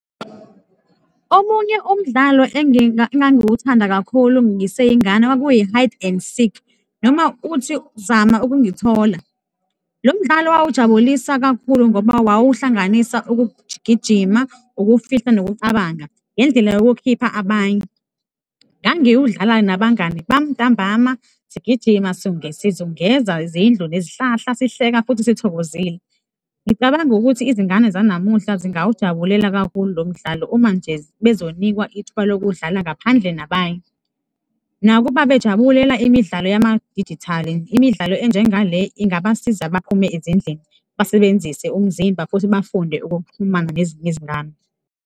Omunye umdlalo engangiwuthanda kakhulu ngiseyingane kwakuyi-hide and seek noma uthi, zama ukungithola. Lo mdlalo wawujabulisa kakhulu ngoba wawuhlanganisa ukugijima, ukufihla nokucabanga ngendlela yokukhipha abanye. Ngangiwudlala nabangani bami ntambama, sigijima, sizungeza izindlu nezihlahla, sihleka futhi sithokozile. Ngicabanga ukuthi izingane zanamuhla zingawujabulela kakhulu lo mdlalo uma nje bezonikwa ithuba lokuwudlala ngaphandle nabanye. Nakuba bejabulela imidlalo yamadijitali, imidlalo enjenga le ingabasiza baphume ezindlini, basebenzise umzimba futhi bafunde ukuxhumana nezinye izingane.